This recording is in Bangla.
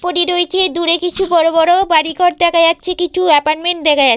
পরে রয়েছে দূরে কিছু বড় বড় বাড়ি ঘর দেখা যাচ্ছে কিছু এপার্টমেন্ট দেখা যা --